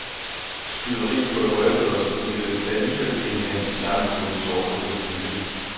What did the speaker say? Skyderi kunne have røbet os, og du ville alligevel ikke have en chance mod en såret krokodille.